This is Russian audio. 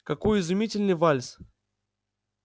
какой изумительный вальс